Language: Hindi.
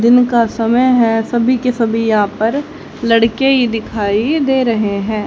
दिन का समय है सभी के सभी यहां पर लड़के ही दिखाई दे रहे हैं।